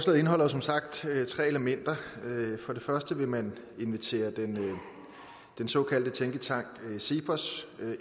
indeholder som sagt tre elementer for det første vil man invitere den såkaldte tænketank cepos